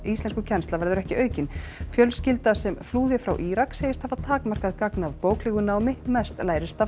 íslenskukennsla verður ekki aukin fjölskylda sem flúði frá Írak segist hafa takmarkað gagn af bóklegu námi mest lærist af